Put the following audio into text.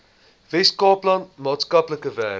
weskaapland maatskaplike werk